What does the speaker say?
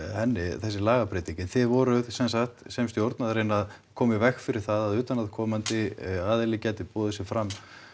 þessi lagabreyting en þið voruð sem sagt sem stjórn að reyna að koma í veg fyrir það að utanaðkomandi aðili gæti boðið sig fram